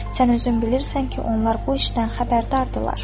Sən özün bilirsən ki, onlar bu işdən xəbərdardırlar.